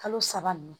Kalo saba ninnu